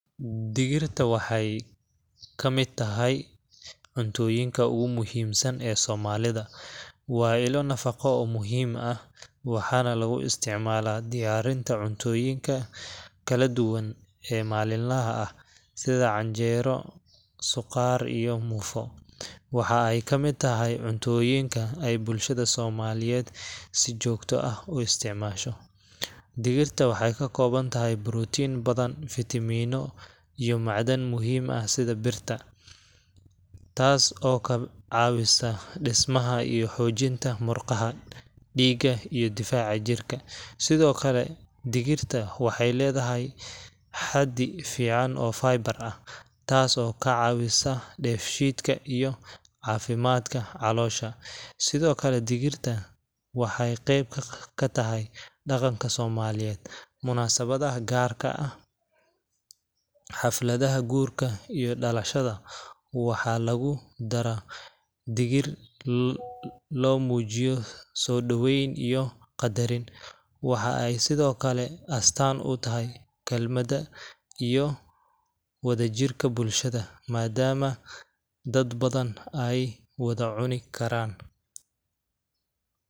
Digirta waxay ka mid tahay cuntooyinka ugu muhiimsan ee Soomaalida. Waa ilo nafaqo oo muhiim ah, waxaana lagu isticmaalaa diyaarinta cuntooyinka kala duwan ee maalinlaha ah, sida canjeero, suqaar, iyo muufo. Waxa ay ka mid tahay cuntoyinka ay bulshada Soomaaliyeed si joogto ah u isticmaasho. Digirta waxay ka kooban tahay borotiin badan, fiitamiinno, iyo macdan muhiim ah sida birta, taas oo ka caawisa dhismaha iyo xoojinta murqaha, dhiigga, iyo difaaca jirka. Sidoo kale, digirta waxay leedahay xaddi fiican oo fiiber ah, taas oo ka caawisa dheefshiidka iyo caafimaadka caloosha. Sidoo kale, digirta waxay qayb ka tahay dhaqanka Soomaaliyeed. Munaasabadaha, gaarka ah, xafladaha guurka iyo dhalashada, waxaa lagu dara digir si loo muujiyo soo dhaweyn iyo qadarin. Waxa ay sidoo kale astaan u tahay kaalmada iyo wadajirka bulshada, maadaama dad badan ay wada cuni karaan.